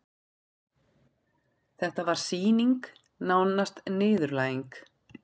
Þetta var sýning, nánast niðurlæging.